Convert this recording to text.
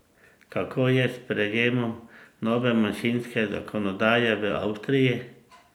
Kako je s sprejemom nove manjšinske zakonodaje v Avstriji?